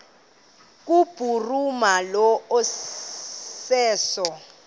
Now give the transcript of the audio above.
kubhuruma lo iseso